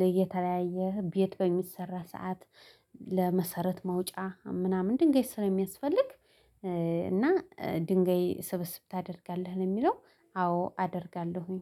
ለየተለያየ ቤት በሚሰራ ሰዓት ለመሰረት መውጫ ምናምን ድንገት ስለሚያስፈልግ እና ድንጋይ ስብስብ ታደርጋለህ ነው የሚለው? አዎ አደርጋለሁኝ